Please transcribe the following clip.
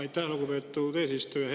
Aitäh, lugupeetud eesistuja!